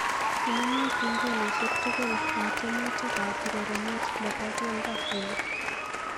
Inemu kengeleshek tugul eng tyemutikab urerenet nebo keldo oli